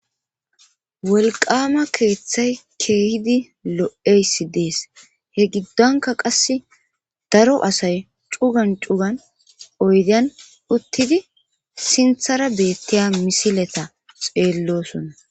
Wolqama keeththay keehidi lo7eysi dees he giddonka qass daro asay cugan cugan oydian uttidi sinthara beetteya misileta xeellosona.